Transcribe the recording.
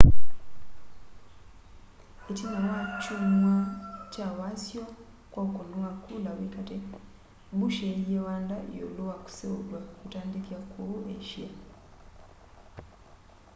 itina wa kyumwa kya wasyo kwa ukuni wa kula wi kati bush eeie wanda yiulu wa kuseuvya utandithya kuu asia